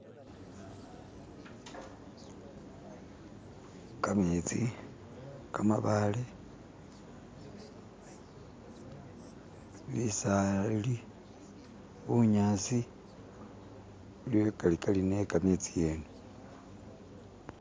kametsi kamabaale bisali bunyasi bili akarikari yekametsi yene